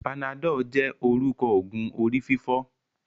Panadol jé orúkọ ogun orí-fífọ́.